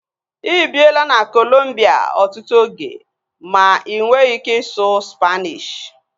Ịbiela na Kolombia ọtụtụ oge ma inweghi ike ịsụ Spaanishi